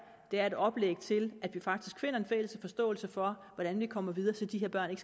er et oplæg til at vi faktisk finder en fælles forståelse for hvordan vi kommer videre så de her børn